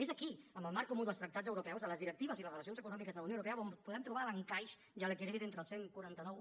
és aquí en el marc comú dels tractats europeus de les directives i les relacions econòmiques de la unió europea on podem trobar l’encaix i l’equilibri entre els catorze noranta u